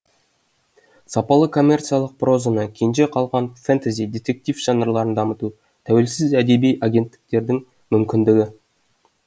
сапалы коммерциялық прозаны кенже қалған фэнтэзи детектив жанрларын дамыту тәуелсіз әдеби агенттіктердің мүмкіндігі